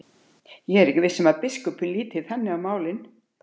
Ég er ekki viss um að biskup líti þannig á málin.